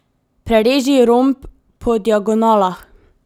Prereži romb po diagonalah.